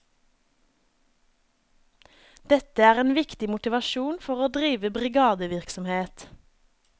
Dette er en viktig motivasjon for å drive brigadevirksomhet.